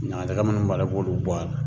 Ɲagaɲaga munnu b'a la i b'olu bɔ a la.